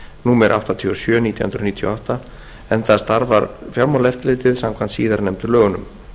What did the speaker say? númer áttatíu og sjö nítján hundruð níutíu og átta enda starfar fjármáleftirlitið samkvæmt síðar nefndu lögunum